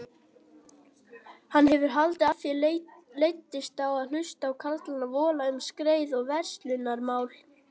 Hann hefur haldið að þér leiddist að hlusta á karlana vola um skreið og verslunarmál.